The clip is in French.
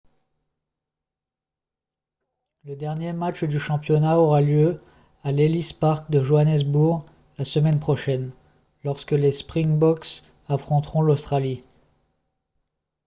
le dernier match du championnat aura lieu à l'ellis park de johannesburg la semaine prochaine lorsque les springboks affronteront l'australie